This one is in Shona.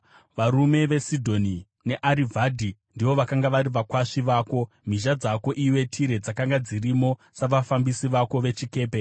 Varume veSidhoni neArivhadhi ndivo vakanga vari vakwasvi vako; mhizha dzako, iwe Tire dzakanga dzirimo savafambisi vako vechikepe.